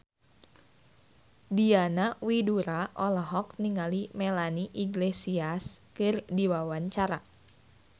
Diana Widoera olohok ningali Melanie Iglesias keur diwawancara